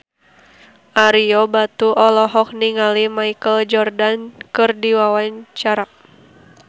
Ario Batu olohok ningali Michael Jordan keur diwawancara